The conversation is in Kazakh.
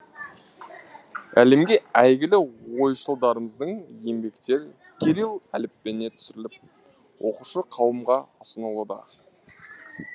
әлемге әйгілі ойшылдарымыздың еңбектері кирилл әліпбиіне түсіріліп оқушы қауымға ұсынылуда